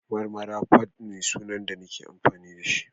Marmara_fadd ne sunan da nake amfani da shi